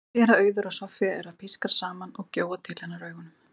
Hún sér að Auður og Soffía eru að pískra saman og gjóa til hennar augunum.